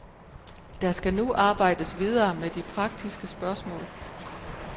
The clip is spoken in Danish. Der skal nu arbejdes videre med de praktiske spørgsmål.